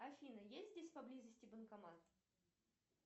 афина есть здесь поблизости банкомат